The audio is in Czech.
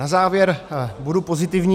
Na závěr budu pozitivní.